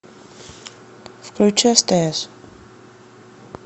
включи стс